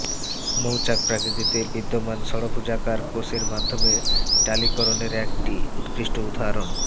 মৌচাক প্রাকিতিতে বিদ্যমান ষড়ভুজাকার কোষের মাধ্যমে টালিকরণের একটি উৎকৃষ্ট উদাহরণ